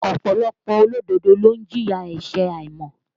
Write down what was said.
Ọ̀pọ̀lọpọ̀ olódodo ló ń jìyà ẹ̀sẹ̀ àìmọ̀